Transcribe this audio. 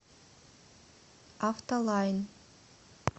автолайн